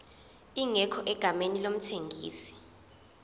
ingekho egameni lomthengisi